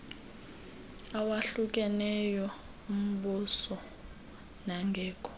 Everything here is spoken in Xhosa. awahlukeneyo ombuso nangekho